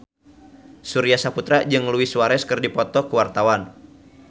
Surya Saputra jeung Luis Suarez keur dipoto ku wartawan